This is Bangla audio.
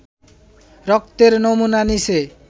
রক্তের নমুনা নিছে